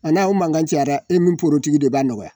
A n'a o mankan cayara, e min poro tigi de b'a nɔgɔya.